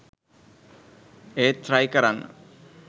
ඒත් ට්‍රයි කරන්න